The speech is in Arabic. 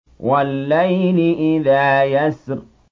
وَاللَّيْلِ إِذَا يَسْرِ